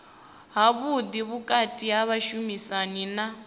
havhuḓi vhukati ha vhashumisani na